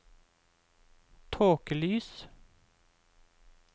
tåkelys